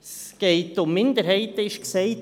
Es gehe um Minderheiten, wurde gesagt.